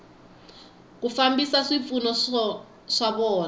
ku fambisa swipfuno swa vona